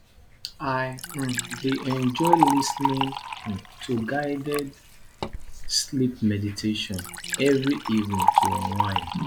i um dey enjoy lis ten ing um to guided sleep meditation every evening to unwind